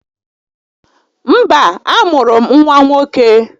Mba, a mụrụ m nwa nwoke